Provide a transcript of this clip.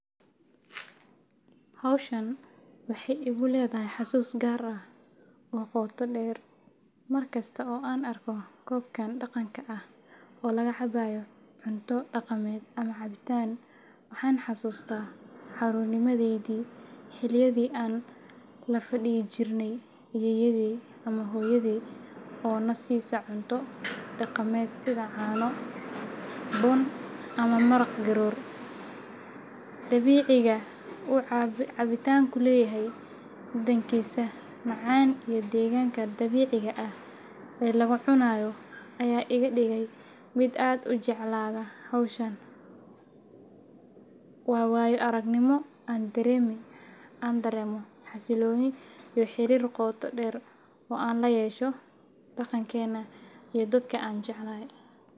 Hawshan waxay igu leedahay xusuus gaar ah oo qoto dheer. Mar kasta oo aan arko koobkan dhaqanka ah oo laga cabayo cunto dhaqameed ama cabitaan, waxaan xasuustaa carruurnimadaydii, xilliyadii aan la fadhiyi jirnay ayeeyaday ama hooyaday oo na siisa cunto dhaqameed sida caano, bun ama maraq garoor. Dabiiciga uu cabitaanku leeyahay, dhadhankiisa macaan iyo deegaanka dabiiciga ah ee lagu cunayo ayaa iga dhigay mid aad u jeclaada hawshan. Waa waayo-aragnimo aan dareemo xasillooni iyo xiriir qoto dheer oo aan la yeesho dhaqankeenna iyo dadka aan jeclahay.